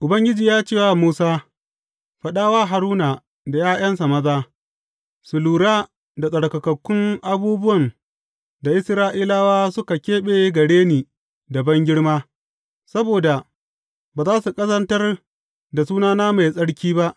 Ubangiji ya ce wa Musa, Faɗa wa Haruna da ’ya’yansa maza, su lura da tsarkakakkun abubuwan da Isra’ilawa suka keɓe gare ni da bangirma, saboda ba za su ƙazantar da sunana mai tsarki ba.